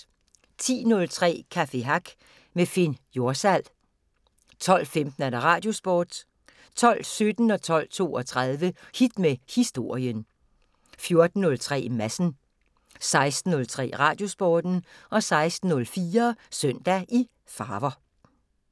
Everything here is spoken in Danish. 10:03: Café Hack med Finn Jorsal 12:15: Radiosporten 12:17: Hit med Historien 12:32: Hit med Historien 14:03: Madsen 16:03: Radiosporten 16:04: Søndag i farver